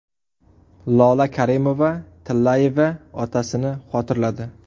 Lola Karimova-Tillayeva otasini xotirladi.